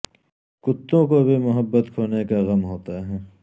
کتوں کو بھی محبت کھونے کا غم ہوتا ہے